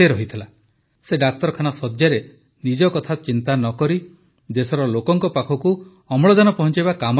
ସେ ଡାକ୍ତରଖାନା ଶଯ୍ୟାରେ ନିଜ କଥା ଚିନ୍ତା ନକରି ଦେଶର ଲୋକଙ୍କ ପାଖକୁ ଅମ୍ଳଜାନ ପହଞ୍ଚାଇବା କାମରେ ଲାଗିଥିଲେ